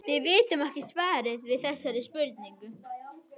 Við vitum ekki svarið við þessari spurningu.